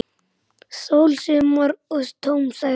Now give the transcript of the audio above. Sól, sumar og tóm sæla!